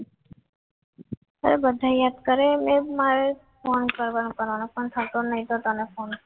બધા યાદ કરીને મારે phone કરવાનો પણ થતો નથી તેને પણ